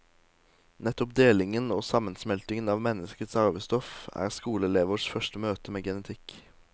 Nettopp delingen og sammensmeltingen av menneskets arvestoff er skoleelevers første møte med genetikk.